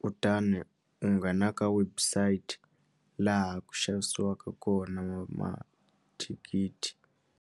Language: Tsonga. kutani u nghena ka website laha ku xavisiwaka kona mathikithi.